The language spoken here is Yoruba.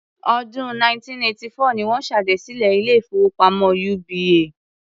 Ọdún 1984 ni wọ́n ṣèdásílẹl ilé-ìfowópamọ́ UBA.